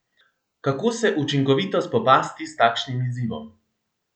Kako se učinkovito spopasti s takšnim izzivom?